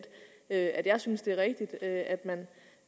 at jeg synes at det er rigtigt at man